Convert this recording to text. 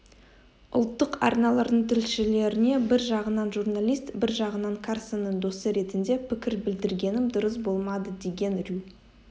ұлттық арналардың тілшілеріне бір жағынан журналист бір жағынан карсонның досы ретінде пікір білдіргенім дұрыс болмадыдеген рью